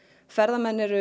ferðamenn eru